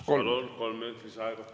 Palun, kolm minutit lisaaega!